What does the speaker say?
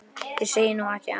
Ég segi nú ekki annað.